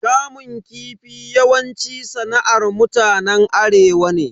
Kamun kifi yawanci sana'ar mutanen arewa ne.